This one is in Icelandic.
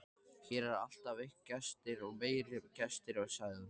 Hér eru alltaf gestir og meiri gestir, sagði hún.